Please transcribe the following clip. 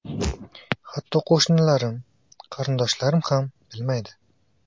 Hatto qo‘shnilarim, qarindoshlarim ham bilmaydi.